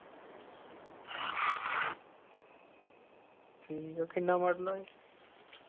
ਠੀਕ ਆ ਕਿੰਨਾ model ਆ ਇਹ? ਆਹ maruti ਦੇਖੀ ਆ? maruti ਵੇਖਦਾਂ ਹੈ? ਇਕ । ਇਕ ਮਿੰਟ